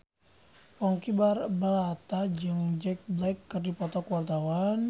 Ponky Brata jeung Jack Black keur dipoto ku wartawan